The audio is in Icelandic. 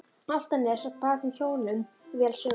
Álftanes og bar þeim hjónum vel söguna.